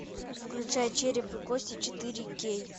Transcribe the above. включай череп и кости четыре кей